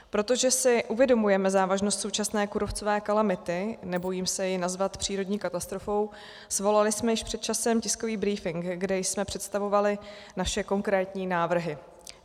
Protože si uvědomujeme závažnost současné kůrovcové kalamity, nebojím se ji nazvat přírodní katastrofou, svolali jsme již před časem tiskový brífink, kde jsme představovali naše konkrétní návrhy.